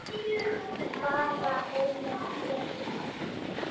Það væri svo móðins.